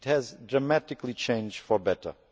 It has dramatically changed for the better.